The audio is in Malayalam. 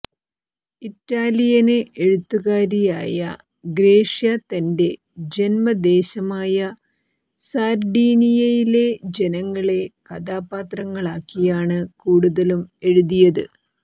ഇറ്റാലിയന് എഴുത്തുകാരിയായ ഗ്രേഷ്യ തന്റെ ജന്മദേശമായ സാര്ഡീനിയയിലെ ജനങ്ങളെ കഥാപാത്രങ്ങളാക്കിയാണ് കൂടുതലും എഴുതിയത്